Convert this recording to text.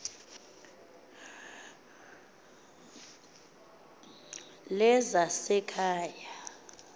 lezasekhaya